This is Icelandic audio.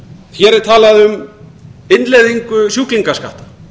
hér er talað um innleiðingu sjúklingaskatta